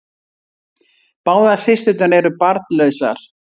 Báðar systurnar eru barnlausar